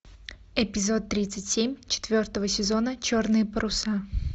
эпизод тридцать семь четвертого сезона черные паруса